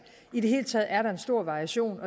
i det hele taget er der en stor variation